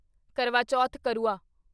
ਕਰਵਾ ਚੌਥ (ਕਰੂਆ)